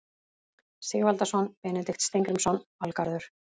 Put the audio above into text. Sigvaldason, Benedikt Steingrímsson, Valgarður